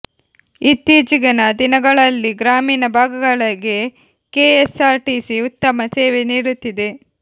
ಇತ್ತೀಚಿಗಿನ ದಿನಗಳಲ್ಲಿ ಗ್ರಾಮೀಣ ಭಾಗಗಳಿಗೆ ಕೆಎಸ್ಆರ್ ಟಿಸಿ ಉತ್ತಮ ಸೇವೆ ನೀಡುತ್ತಿದೆ